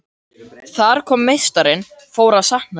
Þar kom að meistarinn fór að sakna þeirra.